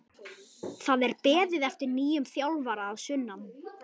Það er beðið eftir nýjum þjálfara að sunnan.